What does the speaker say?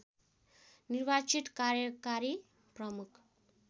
निर्वाचित कार्यकारी प्रमुख